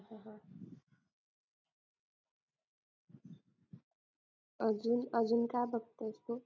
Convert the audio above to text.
अजून अजून काय बघतेस तू